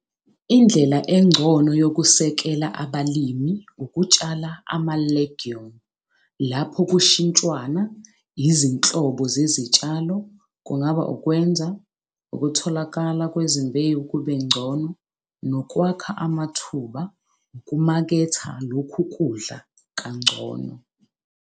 Indlela engcono yokusekela abalimi ukutshala ama-'legume' lapho kushintshwana izinhlobo zezitshalo kungaba ukwenza ukutholakala kwezimbewu kubengcono nokwakha amathuba ukumaketha lokhu kudla kangcono.